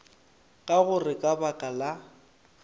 ka gore ka baka la